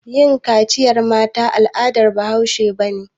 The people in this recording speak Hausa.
Yin kaciyar mata al'adar bahaushe ba ne.